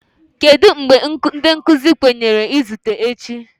Kedu mgbe ndị nkuzi kwenyere izute echi?